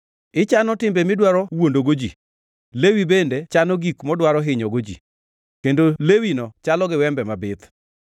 Ichano timbe midwaro wuondogo ji, lewi bende chano gik modwaro hinyogo ji; kendo lewino chalo gi wembe mabith.